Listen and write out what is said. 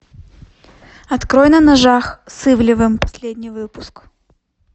открой на ножах с ивлевым последний выпуск